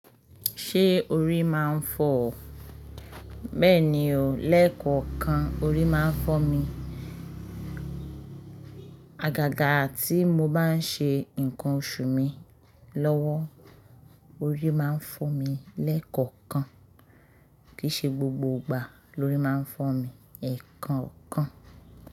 Ṣé orí máa ń fọ́ ọ? Bẹ́ẹ̀ni o, lẹ́ẹ̀kọ̀ọ̀kan orí máa ń fọ́ mi. Àgàgà tí mo bá ń ṣe ǹkan oṣù mi lọ́wọ́, orí máa ń fọ́ mi lẹ́ẹ̀kọ̀ọ̀kan. Kìí ṣe gbogbo ìgbà lórí máa ń fọ́ mi, ẹ̀ẹ̀kọ̀ọ̀kan.